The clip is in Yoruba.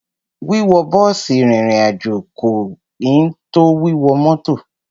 Wíwọ bọ́ọ̀sì rìnrìn àjò kò ẹn tó wíwọ mọ́tọ̀.